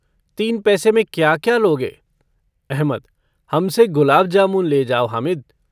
तीन पैसे में क्या-क्या लोगे? अहमद - हमसे गलाब जामुन ले जाओ हामिद।